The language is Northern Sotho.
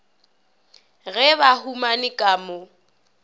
ge ba humane ka mo